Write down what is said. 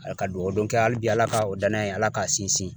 Ala ka duwawu don kɛ hali bi ala ka o danaya in ala k'an sinsin.